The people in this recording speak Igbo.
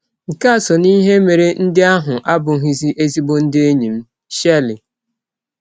Nke a sọ n’ihe mere ndị ahụ abụghịzi ezịgbọ ndị enyi m. ”— Shirley